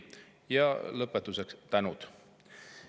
Ja lõpetuseks on ette tänatud.